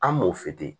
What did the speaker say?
An m'o se ten